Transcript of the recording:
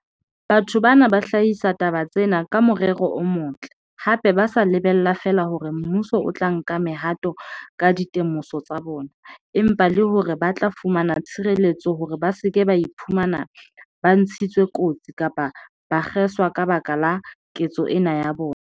Batho bana ba hlahisa taba tsena ka morero o motle, hape ba sa lebella feela hore mmuso o tla nka mehato ka dite moso tsa bona, empa le hore ba tla fumana tshireletso hore ba se ke ba iphumana ba ntshitswe kotsi kapa ba kgeswa ka baka la ketso ena ya bona.